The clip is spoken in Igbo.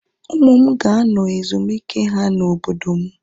Ụmụ m ga-anọ ezumike ha na obodo m